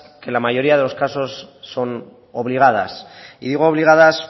que en la mayoría de los casos son obligadas y digo obligadas